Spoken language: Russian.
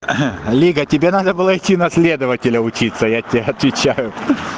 лига тебе надо было идти на следователя учиться я тебе отвечаю